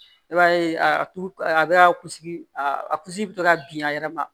I b'a ye a tu a be ka ku a kunsigi bi to ka bin a yɛrɛ ma